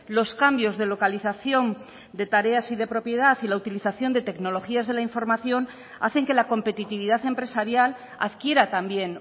los cambios de localización de tareas y de propiedad y la utilización de tecnologías de la información hacen que la competitividad empresarial adquiera también